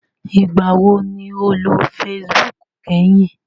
Ìgbà wo ni o lò facebook kẹ́hìn?